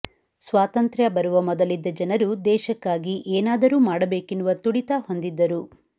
ಸ್ವಾತಂತ್ರ್ಯ ಬರುವ ಮೊದಲಿದ್ದ ಜನರು ದೇಶಕ್ಕಾಗಿ ಏನಾದರೂ ಮಾಡಬೇಕೆನ್ನುವ ತುಡಿತ ಹೊಂದಿದ್ದರು